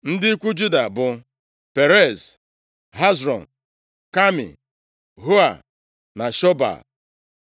Ndị ikwu Juda bụ Perez, Hezrọn, Kami, Hua na Shobal.